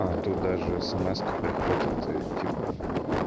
а то даже эсэмэска приходит и типа